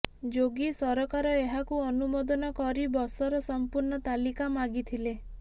ଯୋଗୀ ସରକାର ଏହାକୁ ଅନୁମୋଦନ କରି ବସର ସମ୍ପୂର୍ଣ୍ଣ ତାଲିକା ମାଗିଥିଲେ